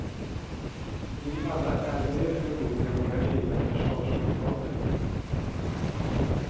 Vi alla är mer eller mindre våra egna försvarsadvokater.